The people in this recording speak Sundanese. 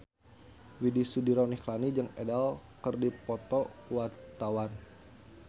Widy Soediro Nichlany jeung Adele keur dipoto ku wartawan